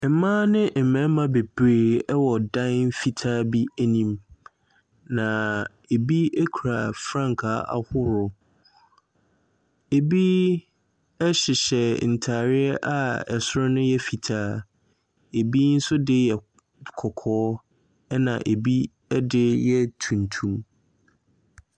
Mmaa ne mmarima bebree ɛwɔ ɛdan fitaa bi ɛnim na ebi ekura frankaa ahorɔ. Ebi ɛhyehyɛ ntaareɛ a ɛsoro no yɛ fitaa. Ebi nso de yɛ kɔkɔɔ ɛna ebi ɛde yɛ tuntum.